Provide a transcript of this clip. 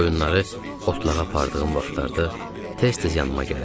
Qoyunları otlağa apardığım vaxtlarda tez-tez yanıma gələrdi.